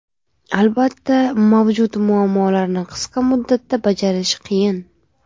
Albatta, mavjud muammolarni qisqa muddatda bajarish qiyin.